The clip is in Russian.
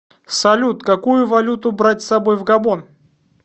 салют какую валюту брать с собой в габон